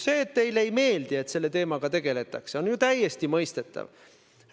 See, et teile ei meeldi, et selle teemaga tegeldakse, on ju täiesti mõistetav.